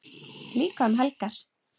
Líka um helgar.